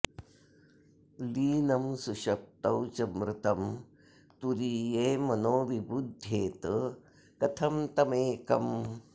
लीनं सुषुप्तौ च मृतं तुरीये मनो विबुध्येत कथं तमेकम्